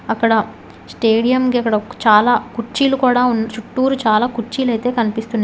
అక్కడ స్టేడియం కి చాలా కుర్చీలు కూడా చుట్టూరు చాలా కుర్చీలు అయితే కనిపిస్తున్నాయి.